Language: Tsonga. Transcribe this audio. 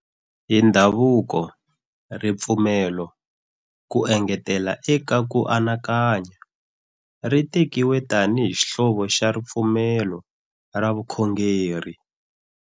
Hi ndhavuko, ripfumelo, ku engetela eka ku anakanya, ri tekiwe tanihi xihlovo xa ripfumelo ra vukhongeri.